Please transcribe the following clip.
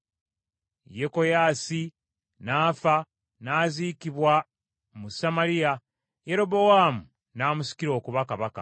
Yekoyaasi n’afa, n’aziikibwa mu Samaliya, Yerobowaamu n’amusikira okuba kabaka.